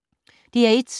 DR1